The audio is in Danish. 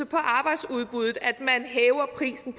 på arbejdsudbuddet at man hæver prisen